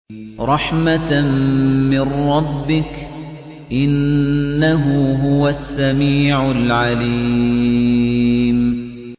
رَحْمَةً مِّن رَّبِّكَ ۚ إِنَّهُ هُوَ السَّمِيعُ الْعَلِيمُ